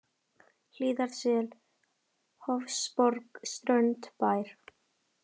Hlíðarsel, Hofsborg, Strönd, Bær